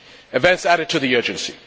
Events added to the urgency.